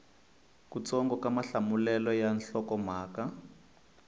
kutsongo ka mahlamulelo ya nhlokomhaka